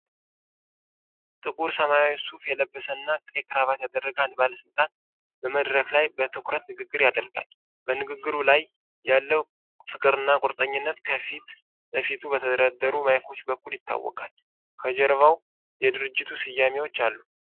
ጥቁር ሰማያዊ ሱፍ የለበሰና ቀይ ክራባት ያደረገ አንድ ባለስልጣን በመድረክ ላይ በትኩረትንግግር ያደርጋል። በንግግሩ ላይ ያለው ፍቅርና ቁርጠኝነት ከፊት ለፊቱ በተደረደሩ ማይኮች በኩል ይታወቃል። ከጀርባው የድርጅት ስያሜዎች አሉ።